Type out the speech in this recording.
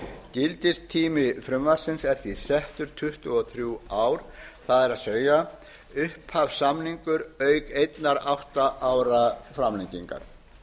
gildistími frumvarpsins er því settur tuttugu og þrjú ár það er upphafssamningur auk einnar átta ára framlengingar